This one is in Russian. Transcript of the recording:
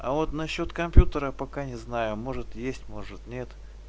а вот насчёт компьютера пока не знаю может есть может нет